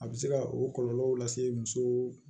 A bɛ se ka o kɔlɔlɔw lase muso